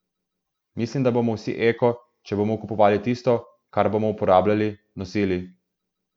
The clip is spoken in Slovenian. Mislim, da bomo vsi eko, če bomo kupovali tisto, kar bomo uporabljali, nosili.